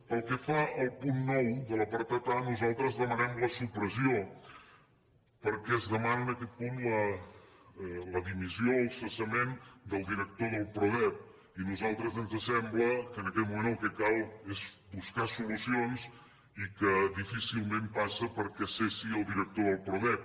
pel que fa al punt nou de l’apartat a nosaltres en de manem la supressió perquè es demana en aquest punt la di missió el cessament del director del prodep i a nosaltres ens sembla que en aquest moment el que cal és buscar solucions i que difícilment passa perquè cessi el director del prodep